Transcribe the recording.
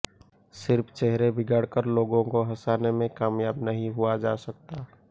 सिर्फ चेहरे बिगाड़ कर लोगों को हंसाने में कामयाब नहीं हुआ जा सकता